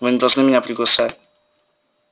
вы не должны меня приглашать